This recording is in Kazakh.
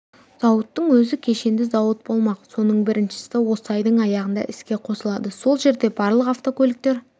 зауыттың өзі кешенді зауыт болмақ соның біріншісі осы айдың аяғында іске қосылады сол жерде барлық автокөліктер